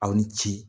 Aw ni ce